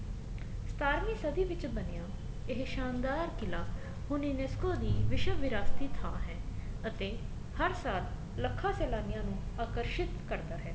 ਸਤਾਰਵੀ ਸਦੀ ਵਿੱਚ ਬਣਿਆ ਇਹ ਸ਼ਾਨਦਾਰ ਕਿਲਾ ਹੁਣ frisco ਦੀ ਵਿਸ਼ਵ ਵਿਰਾਸਤੀ ਥਾ ਹੈ ਅਤੇ ਹਰ ਸਾਲ ਲੱਖਾ ਸੇਲਾਨੀਆਂ ਦੀਆਂ ਰੁਹਾ ਆਕਰਸ਼ਿਤ ਕਰਦਾ ਹੈ